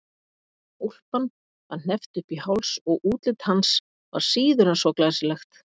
Úlpan var hneppt upp í háls og útlit hans var síður en svo glæsilegt.